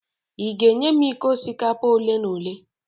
ị ga-enye m iko osikapa ole n'ole?